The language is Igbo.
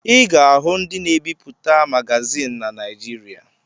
Ị ga-ahụ ndị na-ebipụta magazịn na Naịjịrịa.